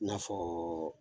I n'a fɔɔ